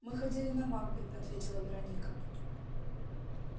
мы ходили на макбет ответила вероника